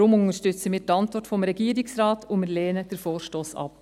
Deshalb unterstützen wir die Antwort des Regierungsrates und lehnen den Vorstoss ab.